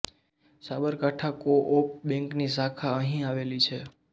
Sabarkantha co op બૅન્કની શાખા અહીં આવેલી છે